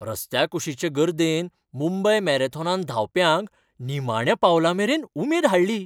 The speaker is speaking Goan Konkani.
रस्त्याकुशीचे गर्देन मुंबय मॅरेथॉनांत धांवप्यांक निमाण्या पावलामेरेन उमेद हाडली.